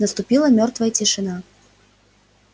наступила мёртвая тишина